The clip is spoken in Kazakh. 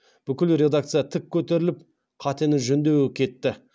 бүкіл редакция тік көтеріліп қатені жөндеуге кетті